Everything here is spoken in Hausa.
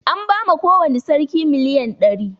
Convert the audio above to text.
An ba ma kowani sarki miliyan ɗari